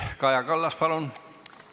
Kaja Kallas, palun!